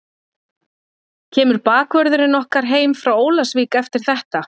Kemur bakvörðurinn okkar heim frá Ólafsvík eftir þetta?